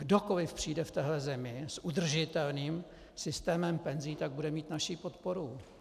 Kdokoliv přijde v téhle zemi s udržitelným systémem penzí, tak bude mít naši podporu.